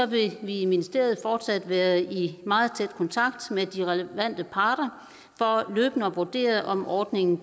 vi i ministeriet fortsat være i meget tæt kontakt med de relevante parter for løbende at vurdere om ordningen